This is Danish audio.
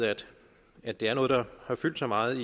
at det er noget der har fyldt så meget